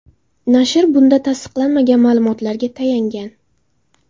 Nashr bunda tasdiqlanmagan ma’lumotlarga tayangan.